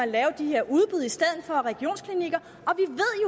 lave de her udbud i stedet for regionsklinikker